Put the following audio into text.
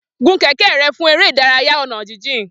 Gùn kẹ̀kẹ́ rẹ fún eré ìdárayá ọ̀nà jíjìn.